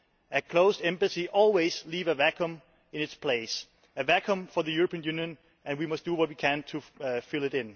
A closed embassy always leaves a vacuum in its place a vacuum for the European Union, and we must do what we can to fill it.